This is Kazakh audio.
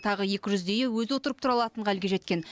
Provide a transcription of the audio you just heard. тағы екі жүздейі өзі отырып тұра алатын халге жеткен